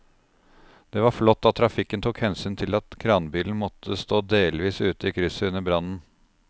Det var flott at trafikken tok hensyn til at kranbilen måtte stå delvis ute i krysset under brannen.